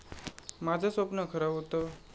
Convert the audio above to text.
माझं स्वप्न खरं होतं.